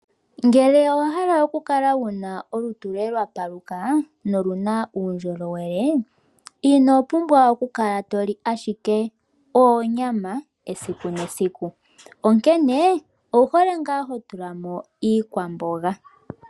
Ngele owa hala okukala wuna olutu loye lwa paluka, noluna uundjolowele ino pumbwa okukala to li ashike oonyama esiku nesiku. Onkene owu hole ngaa ho tula mo iikwamboga.